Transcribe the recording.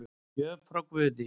Gjöf frá guði